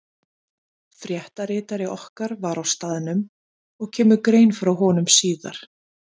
Fréttaritari okkar var á staðnum og kemur grein frá honum síðar.